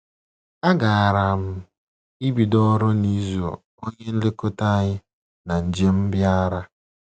A gaara m ebido ọrụ n’izu onye nlekọta anyị na njem bịara.